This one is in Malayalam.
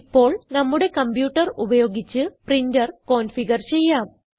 ഇപ്പോൾ നമ്മുടെ കംപ്യൂട്ടർ ഉപയോഗിച്ച് പ്രിന്റർ കോൻഫിഗർ ചെയ്യാം